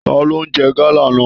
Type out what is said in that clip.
Taló n jẹ gala náà?